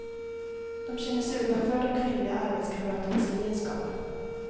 De känner sig utanför de kvinnliga arbetskamraternas gemenskap.